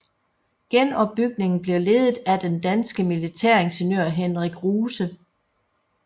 Genopbygningen blev ledet af den danske militæringeniør Henrik Ruse